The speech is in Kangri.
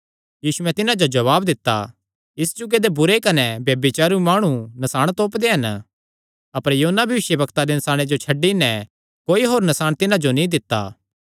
यीशुयैं तिन्हां जो जवाब दित्ता इस जुगे दे बुरे कने ब्यभिचारी माणु नसाण तोपदे हन अपर योना भविष्यवक्ता दे नसाणे जो छड्डी नैं कोई होर नसाण तिन्हां जो नीं दित्ता जाणा